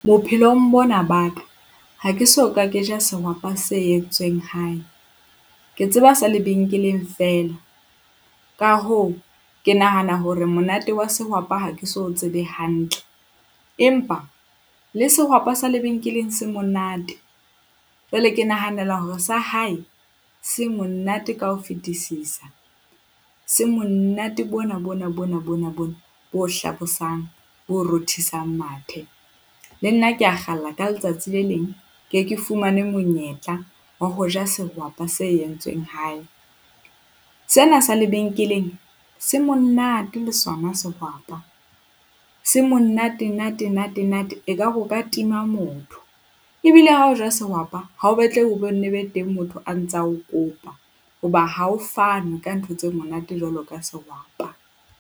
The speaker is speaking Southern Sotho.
Bophelong bona ba ka, ha ke so ka ke ja sehwapa se entsweng hae. Ke tseba sa lebenkeleng feela. Ka hoo, ke nahana hore monate wa sehwapa ha ke so tsebe hantle empa le sehwapa sa lebenkeleng se monate. Jwale ke nahanela hore sa hae se monate ka ho fetisisa, se monate bona bona bona bona bona bo hlabosang bo rothisang mathe. Le nna ke a kgalla ka letsatsi le leng ke ke fumane monyetla wa ho ja sehwapa se entsweng hae. Sena sa lebenkeleng se monate le sona sehwapa. Se monate nate nate nate, ekare o ka tima motho ebile ha o ja sehwapa ha o batlehe o bo nne ho be teng motho a ntsa o kopa. Hoba ha ho fanwe ka ntho tse monate jwalo ka sehwapa.